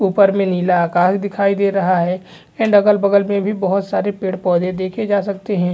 ऊपर में नीला आकाश दिखाई दे रहा है एंड अगल-बगल में बहत सारे पेड़-पौधों देखे जा सक्ते है।